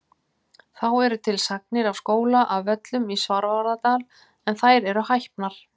Þá eru til sagnir af skóla að Völlum í Svarfaðardal en þær eru hæpnar.